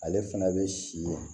Ale fana bɛ si ye